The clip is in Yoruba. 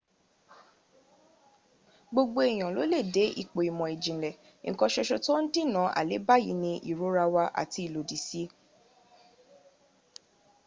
gbogbo eyan lo le de ipo imo ijinle nkan soso to n dinna aleba yi ni irora wa ati ilodi si w